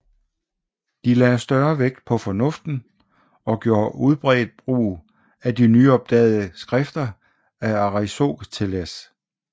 De lagde større vægt på fornuften og gjorde udbredt brugt af de nyopdagede skrifter a Arisoteles